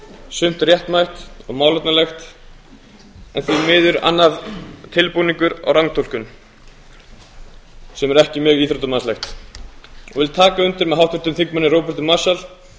sumt réttmætt og málefnalegt en því miður annað tilbúningur og rangtúlkun sem er ekki mjög íþróttamannslegt og ég vil taka undir með háttvirtum þingmanni róberti marshall